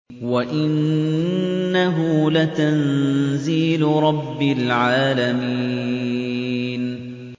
وَإِنَّهُ لَتَنزِيلُ رَبِّ الْعَالَمِينَ